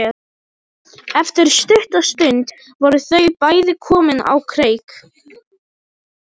Eftir stutta stund voru þau bæði komin á kreik.